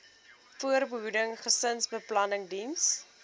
voorbehoeding gesinsbeplanning diens